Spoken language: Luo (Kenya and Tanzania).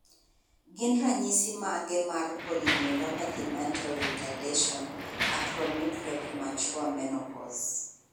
Gin ranyisis mage mar Polyneuropathy mental retardation acromicria premature menopause?